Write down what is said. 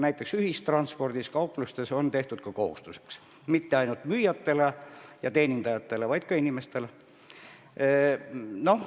Näiteks ühistranspordis ja kauplustes on tehtud mask kohustuseks, ja mitte ainult müüjatele ja muudele teenindajatele, vaid kõigile.